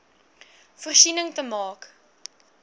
voorsiening te maak